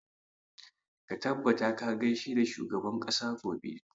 Ka tabbata ka gaishe da shugaban ƙasa gobe!